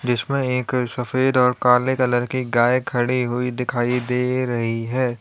जिसमें एक सफेद और काले कलर की गाय खड़ी हुई दिखाई दे रही है।